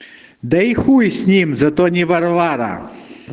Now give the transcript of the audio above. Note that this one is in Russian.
да и хуй с ним зато не варвара